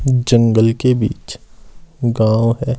जंगल के बीच गांव है।